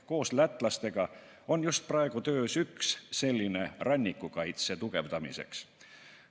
Koos lätlastega on just praegu töös üks selline rannikukaitse tugevdamiseks.